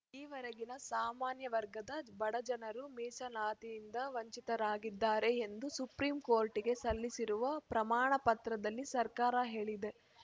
ಈವರೆಗೆ ಸಾಮಾನ್ಯವರ್ಗದ ಬಡಜನರು ಮೀಸಲಾತಿಯಿಂದ ವಂಚಿತರಾಗಿದ್ದಾರೆ ಎಂದು ಸುಪ್ರೀಂಕೋರ್ಟಿಗೆ ಸಲ್ಲಿಸಿರುವ ಪ್ರಮಾಣ ಪತ್ರದಲ್ಲಿ ಸರ್ಕಾರ ಹೇಳಿದೆ